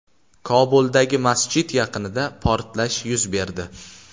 Kobuldagi masjid yaqinida portlash yuz berdi.